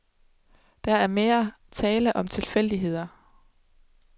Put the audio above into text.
Der er mere tale om tilfældigheder.